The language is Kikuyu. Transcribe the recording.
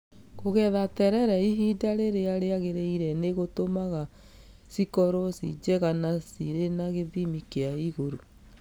Kũgetha terere ihinda rĩrĩa rĩagĩrĩire nĩ gũtũmaga cikorwo ci njega na cirĩ cia gĩthimi kĩa igũrũ.